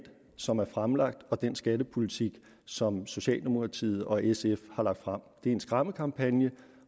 som er fremlagt og den skattepolitik som socialdemokratiet og sf har lagt frem det er en skræmmekampagne